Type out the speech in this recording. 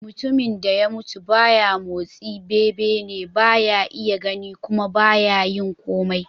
Mutumin da ya mutu ba ya motsi, bebene, ba ya iya gani kuma ba ya yin komai.